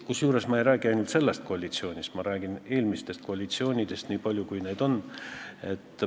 Kusjuures ma ei räägi ainult sellest koalitsioonist, ma räägin ka eelmistest koalitsioonidest, nii palju kui neid olnud on.